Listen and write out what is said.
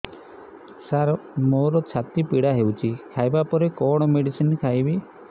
ସାର ମୋର ଛାତି ପୀଡା ହଉଚି ଖାଇବା ପରେ କଣ ମେଡିସିନ ଖାଇବି